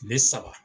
Tile saba